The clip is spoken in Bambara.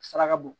Saraka bɔ